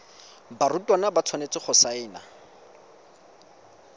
barutwana ba tshwanetse go saena